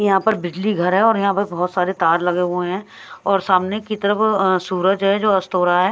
यहां पर बिजली घर है और यहां पर बहुत सारे तार लगे हुए हैं और सामने की तरफ अं सूरज है जो अस्त हो रहा है।